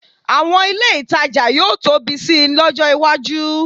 Àwọn ilé ìtajà yóò tóbi sí i lọ́jọ́ iwájú